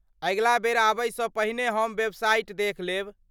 अगिला बेर आबयसँ पहिने हम वेबसाइट देखि लेब।